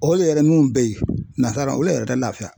O le yɛrɛ mun bɛ yen nansara o le yɛrɛ ka lafiya